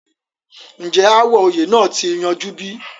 ǹjẹ́ ááwọ̀ oyè náà ti yanjú bí?